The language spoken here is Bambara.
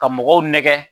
Ka mɔgɔw nɛgɛ